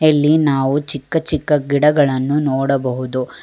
ಇಲ್ಲಿ ನಾವು ಚಿಕ್ಕ ಚಿಕ್ಕ ಗಿಡಗಳನ್ನು ನೋಡಬಹುದು.